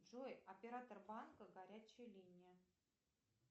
джой оператор банка горячая линия